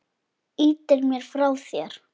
Ýtir mér frá þér.